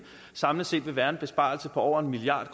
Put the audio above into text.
samlet set vil være en besparelse på over en milliard